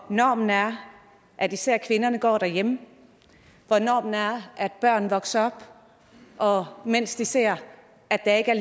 normen er at især kvinderne går derhjemme hvor normen er at børn vokser op og ser at der ikke er